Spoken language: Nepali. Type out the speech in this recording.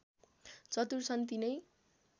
चतुर छन् तिनै